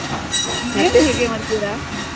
ಮತ್ತೆ ಹೇಗೆ ಮಾಡ್ತೀರಾ?